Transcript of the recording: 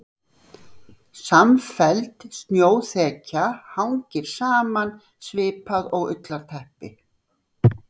Samfelld snjóþekja hangir saman svipað og ullarteppi.